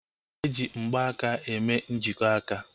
Eji mgbaaka eme njikọ aka